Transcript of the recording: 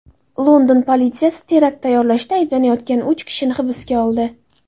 London politsiyasi terakt tayyorlashda ayblanayotgan uch kishini hibsga oldi.